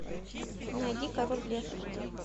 найди король лев